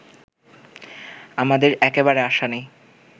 আমাদের একেবারে আশা নেই